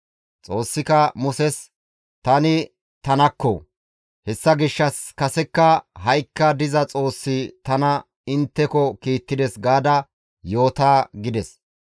Xoossika Muses, « ‹Tani tanakko; hessa gishshas kasekka ha7ikka diza Xoossi tana intteko kiittides› gaada yoota» gides.